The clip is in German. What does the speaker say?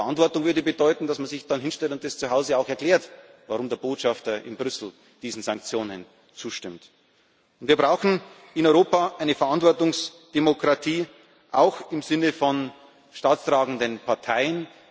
Verantwortung würde bedeuten, dass man sich dann zu Hause hinstellt und auch erklärt, warum der Botschafter in Brüssel diesen Sanktionen zustimmt. Wir brauchen in Europa eine Verantwortungsdemokratie, auch im Sinne von staatstragenden Parteien.